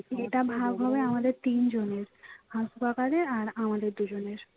এটা ভাগ হবে আমাদের তিন জনের half কাকাদের আর আমাদের দুজনের